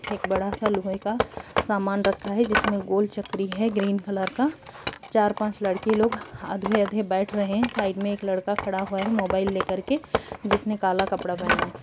एक बड़ा सा लोहे का सामान रखा है जिसमें गोल चकरी है ग्रीन कलर का चार-पांच लड़की लोग आधे-आधे बैठ रहे हैं साइड में एक लड़का खड़ा हुआ है मोबाइल लेकर के जिसने काला कपड़ा पहना है।